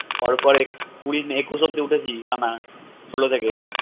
পর পর কুড়ি একুশ অব্দি উঠেছি টানা ষোল থেকে